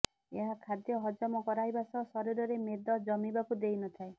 ଏହା ଖାଦ୍ୟ ହଜମ କରାଇବା ସହ ଶରୀରରେ ମେଦ ଜମିବାକୁ ଦେଇନଥାଏ